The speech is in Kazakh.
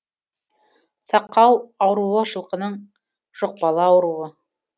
сақау ауруы жылқының жұқпалы ауруы